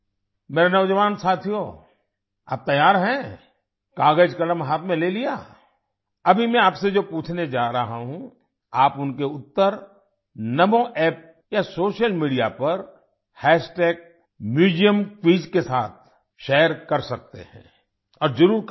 मेरे नौजवान साथियो आप तैयार हैं कागज़ कलम हाथ में ले लिया अभी मैं आपसे जो पूछने जा रहा हूँ आप उनके उत्तर नामो App या सोशल मीडिया पर म्यूजियमक्विज के साथ शेयर कर सकते हैं और जरुर करें